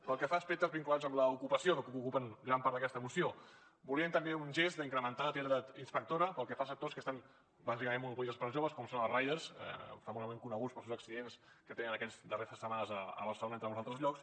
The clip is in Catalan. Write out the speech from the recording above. pel que fa a aspectes vinculats amb l’ocupació que ocupen gran part d’aquesta moció volíem també un gest d’incrementar l’activitat inspectora pel que fa a sectors que estan bàsicament monopolitzats per joves com són els riders famosament coneguts pels seus accidents que tenen aquestes darreres setmanes a barcelona entre molts altres llocs